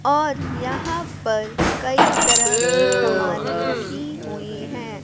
और यहां पर कई तरह की समाने रखी हुई है।